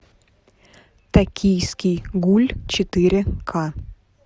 токийский гуль четыре ка